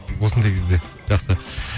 осындай кезде жақсы